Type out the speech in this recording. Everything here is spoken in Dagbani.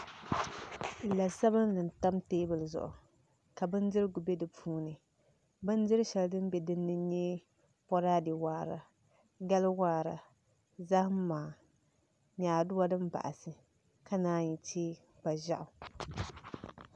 La sabinli n tam teebuli zuɣu ka bindirigu bɛ dinni bindiri shɛli din bɛ dinni n nyɛ boraadɛ waara gali waara zaham maha nyaaduwa din baɣasi ka naan chɛ kpa ʒiɛɣu